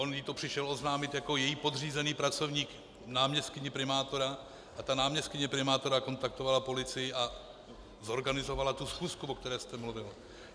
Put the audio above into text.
On jí to přišel oznámit jako její podřízený pracovník náměstkyni primátora a ta náměstkyně primátora kontaktovala policii a zorganizovala tu schůzku, o které jste mluvil.